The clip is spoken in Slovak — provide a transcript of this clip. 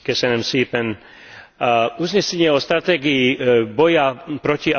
Uznesenie o stratégii boja proti alkoholizmu je veľmi dôležité.